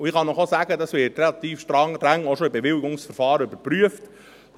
Ich kann Ihnen sagen, dass dies auch schon im Bewilligungsverfahren relativ streng überprüft wird.